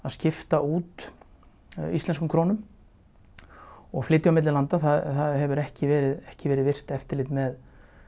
skipta út íslenskum krónum og flytja á milli landa það hefur ekki verið ekki verið virkt eftirlit með